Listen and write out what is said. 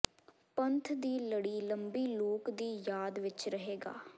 ਪੰਥ ਦੀ ਲੜੀ ਲੰਬੀ ਲੋਕ ਦੀ ਯਾਦ ਵਿੱਚ ਰਹੇਗਾ